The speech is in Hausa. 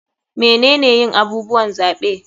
Menene yin abubuwan zaɓe?